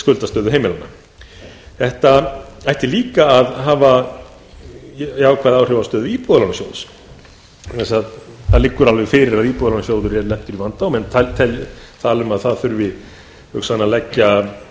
skuldastöðu heimilanna þetta ætti líka að hafa jákvæð áhrif á stöðu íbúðalánasjóðs vegna þess að það liggur alveg fyrir að íbúðalánasjóður er lentur í vanda menn tala um að það þurfi hugsanlega að leggja